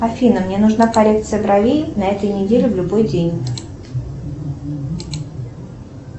афина мне нужна коррекция бровей на этой неделе в любой день